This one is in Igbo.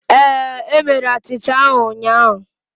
Ee, e mere achịcha ahụ ụnyahụ